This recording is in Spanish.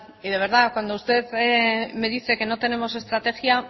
y de verdad cuando usted me dice que no tenemos estrategia